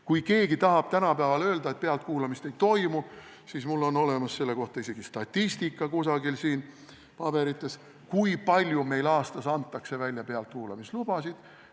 Kui keegi tahab tänapäeval öelda, et pealtkuulamist ei toimu, siis mul on olemas siin paberites selle kohta isegi statistika, kui palju meil aastas antakse välja pealtkuulamislubasid.